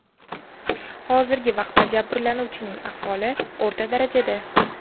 Hozirgi vaqtda jabirlanuvchining ahvoli o‘rta darajada.